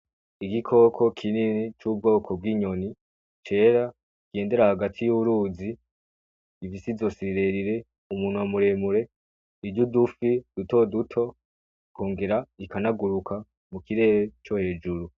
Igikoko kinini cubwoko bwinyoni, cera gitembera hagati yuruzi, rifise izosi rirerire, umunwa muremure, irya udufi dutoduto, ikongera ikanaguruka mukirere cohejuru.